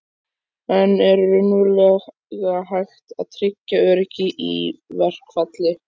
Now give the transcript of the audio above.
En er raunverulega hægt að tryggja öryggi í verkfalli?